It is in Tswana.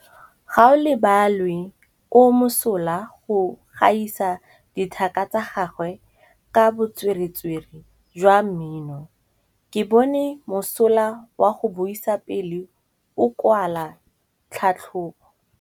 Gaolebalwe o mosola go gaisa dithaka tsa gagwe ka botswerere jwa mmino. Ke bone mosola wa go buisa pele o kwala tlhatlhobô.